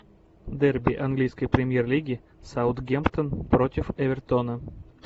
дерби английской премьер лиги саутгемптон против эвертона